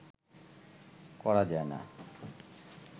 করা যায় না